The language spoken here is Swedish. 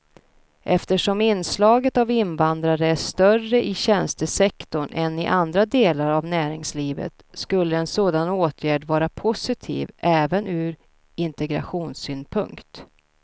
Eftersom inslaget av invandrare är större i tjänstesektorn än i andra delar av näringslivet skulle en sådan åtgärd vara positiv även ur integrationssynpunkt.